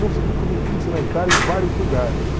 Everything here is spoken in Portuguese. Consegui comer pizza na Itália em vários lugares.